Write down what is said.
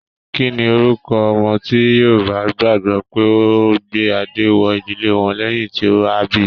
Kínní orúkọ ọmọ ti Yorùbá gbagbọ pe o gbé adé wọ ìdílé wọn lẹyìn tí a bí?